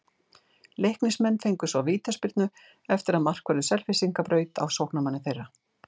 Leiknismenn fengu svo vítaspyrnu eftir að markvörður Selfyssinga braut á sóknarmanni þeirra.